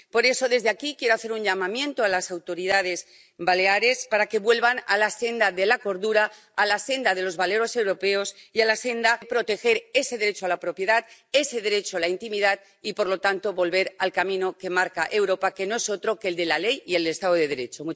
Por eso, desde aquí quiero hacer un llamamiento a las autoridades baleares para que vuelvan a la senda de la cordura, a la senda de los valores europeos y a proteger ese derecho a la propiedad, ese derecho a la intimidad y, por lo tanto, volver al camino que marca Europa, que no es otro que el de la ley y el Estado de Derecho.